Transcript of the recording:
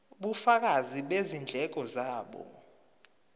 ubufakazi bezindleko zabo